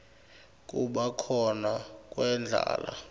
kuba khona kwendlala